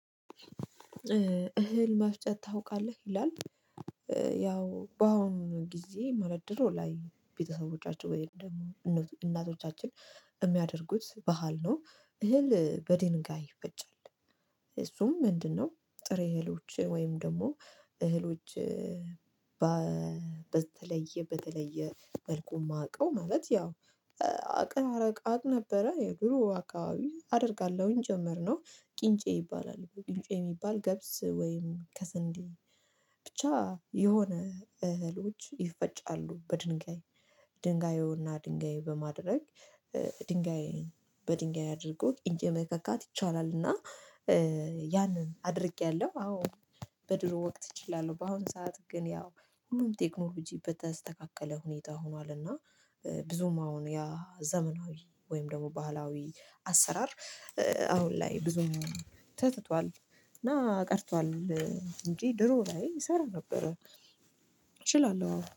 እህል መፍጨት ታውቃለህ ይላል። ያው በአሁኑ ጊዜ ድሮ ላይ ቤተሰቦቻቸው ወይም ደግሞ እናቶቻችን የሚያደርጉት ባህል ነው። እህል በድንጋይ ይፈጫል። እሱም ምንድነው? ጥሬ እህሎች ወይም ደግሞ እህሎች። በተለየ በተለየ መልኩ የማውቀው ማለት ያው አቅራራ አቅ ነበረ። የድሮ አካባቢ አደርጋለሁኝ። ጨመርነው ቅንጪ ይባላል ቅንጪ የሚባል ገብስ ወይም ከስንዴ ብቻ የሆነ እህሎች ይፈጫሉ በድንጋይ። ድንጋዩና ድንጋይ በማድረግ ድንጋይ በድንጋይ አድርጎ ቅንጬ መከካት ይቻላል። እና ያንን አድርጌያለሁ አዎ። በድሮ ወቅት እችላለሁ በአሁን ሰዓት ግን ያው ሁሉም ቴክኖሎጂ በተስተካከለ ሁኔታ ሆኗል። እና ብዙም አሁን ያ ዘመናዊ ወይም ደግሞ ባህላዊ አሰራር። አሁን ላይ ብዙም ተትቷል እና ቀርቷል። እንጂ ድሮ ላይ እሰራ ነበር። እችላለሁ አዎ